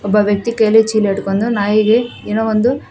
ಒಬ್ಬ ವ್ಯಕ್ತಿ ಕೈಯಲ್ಲಿ ಚೀಲ ಹಿಡ್ಕೊಂಡು ನಾಯಿಗೆ ಏನೋ ಒಂದು--